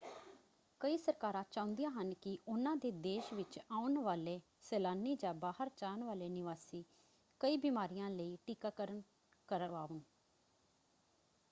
ਕਈ ਸਰਕਾਰਾਂ ਚਾਹੁੰਦੀਆਂ ਹਨ ਕਿ ਉਹਨਾਂ ਦੇ ਦੇਸ਼ ਵਿੱਚ ਆਉਣ ਵਾਲੇ ਸੈਲਾਨੀ ਜਾਂ ਬਾਹਰ ਜਾਣ ਵਾਲੇ ਨਿਵਾਸੀ ਕਈ ਬਿਮਾਰੀਆਂ ਲਈ ਟੀਕਾਕਰਣ ਕਰਵਾਉਣ।